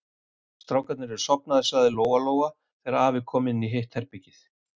Strákarnir eru sofnaðir, sagði Lóa-Lóa þegar afi kom inn í hitt herbergið.